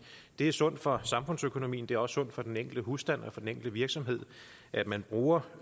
det er sundt for samfundsøkonomien det er også sundt for den enkelte husstand og for den enkelte virksomhed at man bruger